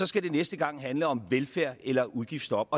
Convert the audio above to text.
skal det næste gang handle om velfærd eller udgiftsstop